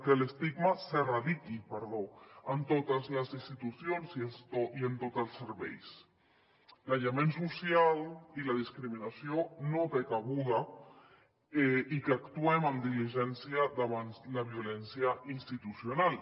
que l’estigma s’erradiqui perdó en totes les institucions i en tots els serveis l’aïllament social i la discriminació no tenen cabuda i que actuem amb diligència davant la violència institucional